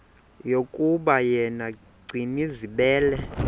yokuba yena gcinizibele